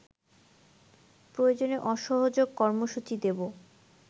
প্রয়োজনে অসহযোগ কর্মসূচী দেব